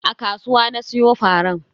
A kasuwa na siyo faran.